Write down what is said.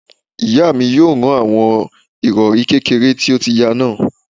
Ìyá mi yóò rán àwọn ìrọ̀rí kékèké tó ti ya náà